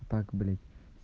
так блять